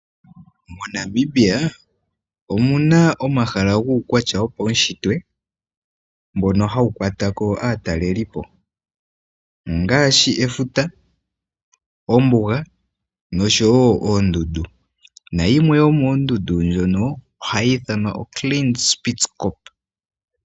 MoNamibia omu na omahala guukwatya wopaushitwe mbono hawu kwata ko aatalelipo; ongaashi efuta, ombuga nosho wo oondundu. Nayimwe yomoondundu ndhono ohayi ithanwa oSpitzkoppe.